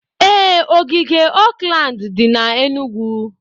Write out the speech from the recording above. Ee, ogige Oakland dị na Enugwu.